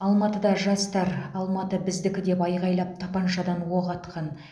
алматыда жастар алматы біздікі деп айғайлап тапаншадан оқ атқан